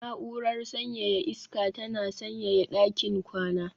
Na'urar sanyaya iska tana sanyaya ɗakin kwana